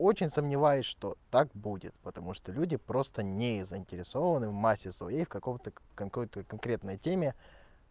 очень сомневаюсь что так будет потому что люди просто не заинтересованы в массе своей какого-то какой-то конкретной теме